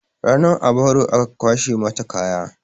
Ranan a baro aka kwashe mata kaya